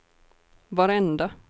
varenda